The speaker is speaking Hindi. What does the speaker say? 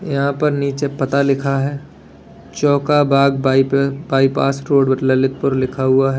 यहां पर नीचे पता लिखा है चौका बाग बाईप बाईपास रोड ललितपुर लिखा हुआ है।